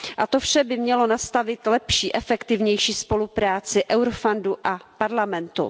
To vše by mělo nastavit lepší, efektivnější spolupráci Eurofoundu a Evropského parlamentu.